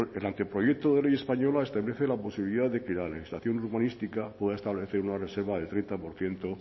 el anteproyecto de ley española establece la posibilidad de que la legislación urbanística pueda establecer una reserva de treinta por ciento